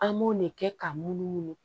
An b'o de kɛ ka munumunu